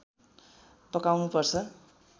पकाउनु पर्छ